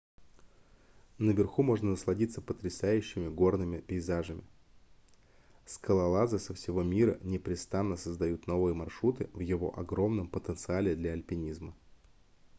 наверху можно насладиться потрясающими горными пейзажами скалолазы со всего мира непрестанно создают новые маршруты в его огромном потенциале для альпинизма